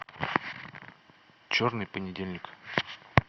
черный понедельник